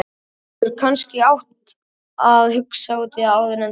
Þú hefðir kannski átt að hugsa út í það áður en þú.